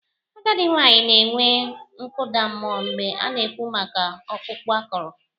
Agadị nwanyị na-enwe nkụda mmụọ mgbe a na-ekwu maka ọkpụkpụ akọrọ.